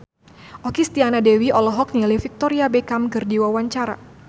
Okky Setiana Dewi olohok ningali Victoria Beckham keur diwawancara